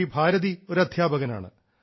ശ്രീ ഭാരതി ഒരു അദ്ധ്യാപകനാണ്